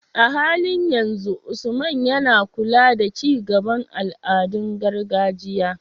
A halin yanzu, Usman yana kula da ci gaban al'adun gargajiya.